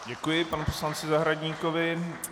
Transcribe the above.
Děkuji panu poslanci Zahradníkovi.